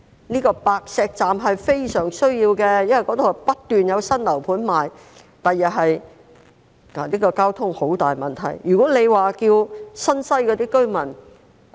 這個白石站是非常有需要的，因為那裏不斷有新樓盤銷售，將來交通是一個十分大的問題。